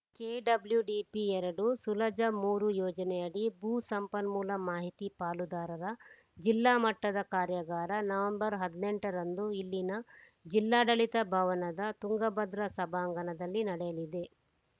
KWDP ಎರಡು ಸುಲಜ ಮೂರು ಯೋಜನೆಯಡಿ ಭೂ ಸಂಪನ್ಮೂಲ ಮಾಹಿತಿ ಪಾಲುದಾರರ ಜಿಲ್ಲಾ ಮಟ್ಟದ ಕಾರ್ಯಾಗಾರ ನವೆಂಬರ್ ಹದಿನೆಂಟರಂದು ಇಲ್ಲಿನ ಜಿಲ್ಲಾಡಳಿತ ಭವನದ ತುಂಗಭದ್ರಾ ಸಬಾಂಗಣದಲ್ಲಿ ನಡೆಯಲಿದೆ